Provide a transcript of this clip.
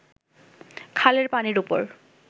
খালের পানির ওপর